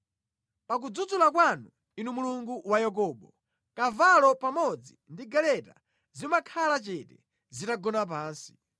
Pa kudzudzula kwanu, Inu Mulungu wa Yakobo, kavalo pamodzi ndi galeta zimakhala chete zitagona pansi.